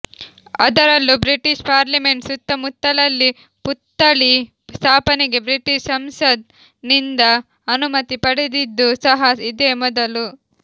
ಅದರಲ್ಲೂ British parliament ಸುತ್ತಮುತ್ತಲಲ್ಲಿ ಪುತ್ಥಳಿ ಸ್ಥಾಪನೆಗೆ ಬ್ರಿಟಿಷ್ ಸಂಸತ್ ನಿಂದ ಅನುಮತಿ ಪಡೆದಿದ್ದು ಸಹ ಇದೇ ಮೊದಲು